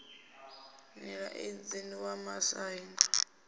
nila idzi wa muaisano wo